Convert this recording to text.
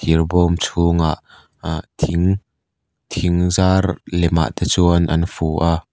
thir bawm chhungah a thing thingzar lem a te chuan an fu a--